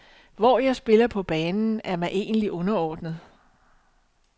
Hvor jeg spiller på banen, er mig egentlig underordnet.